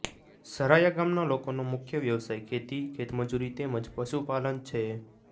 સરાયા ગામના લોકોનો મુખ્ય વ્યવસાય ખેતી ખેતમજૂરી તેમ જ પશુપાલન છે